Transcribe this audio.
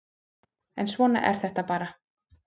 En svona er þetta bara